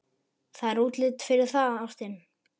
Það er útlit fyrir það, ástin.